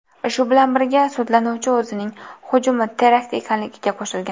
Shu bilan birga, sudlanuvchi o‘zining hujumi terakt ekanligiga qo‘shilgan.